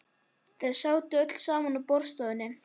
Þau sátu öll saman í borðstofunni.